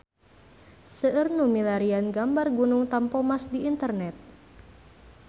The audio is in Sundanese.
Seueur nu milarian gambar Gunung Tampomas di internet